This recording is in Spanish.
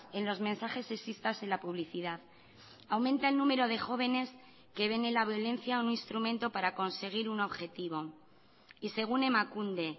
en los mensajes sexistas en la publicidad aumenta el número de jóvenes que ven en la violencia un instrumento para conseguir un objetivo y según emakunde